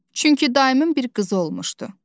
Çünki dayımın bir qızı olmuşdu.